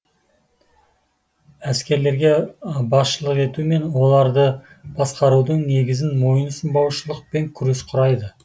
әскерлерге басшылық ету мен оларды басқарудың негізін мойынсұнбаушылық пен күрес құрайды